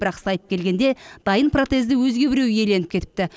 бірақ сайып келгенде дайын протезді өзге біреу иеленіп кетіпті